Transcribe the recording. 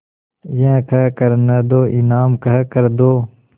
यह कह कर न दो इनाम कह कर दो